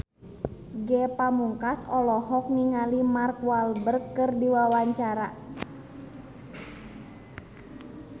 Ge Pamungkas olohok ningali Mark Walberg keur diwawancara